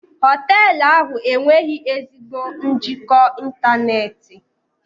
Hoteelu ahụ enweghị ezigbo njikọ ịntanetị.